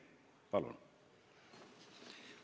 Palun!